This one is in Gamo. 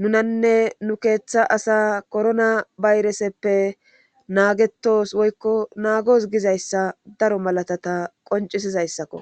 nunanne nu keeththa asa korona bayreseppe naagetos woykko naagos gizayssa daro malatata qoncisizayssakko